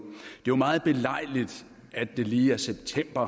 jo meget belejligt at det lige er september